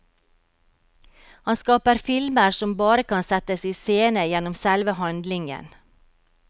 Han skaper filmer som bare kan settes i scene gjennom selve handlingen.